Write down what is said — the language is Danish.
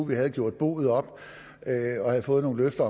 vi havde gjort boet op og fået nogle løfter